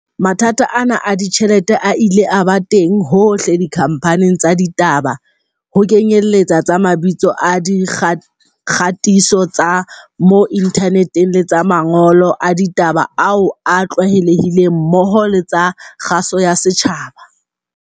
Mathata ana a ditjhelete a ile a ba teng hohle dikhamphaning tsa ditaba, ho kenyeletsa tsa mabitso a di kgatiso tsa mo inthaneteng le tsa mangolo a ditaba ao a tlwaelehileng mmoho le tsa kgaso ya setjhaba.